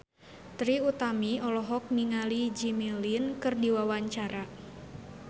Trie Utami olohok ningali Jimmy Lin keur diwawancara